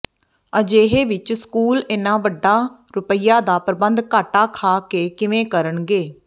ਅਜਿਹੇ ਵਿਚ ਸਕੂਲ ਇਨ੍ਹਾਂ ਵੱਡਾ ਰੁਪਇਆਂ ਦਾ ਪ੍ਰਬੰਧ ਘਾਟਾ ਖਾ ਕੇ ਕਿਵੇਂ ਕਰਨਗੇ